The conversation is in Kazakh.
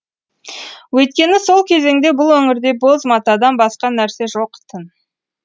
өйткені сол кезеңде бұл өңірде боз матадан басқа нәрсе жоқ тын